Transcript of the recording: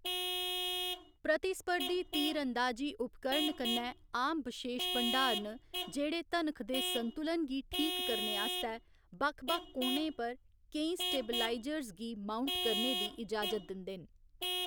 प्रतिस्पर्धी तीर अंदाजी उपकरण कन्नै आम बशेश भंडार न जेह्‌‌ड़े धनख दे संतुलन गी ठीक करने आस्तै बक्ख बक्ख कोणें पर केईं स्टेबलाइजर्स गी माउंट करने दी इजाजत दिंदे न।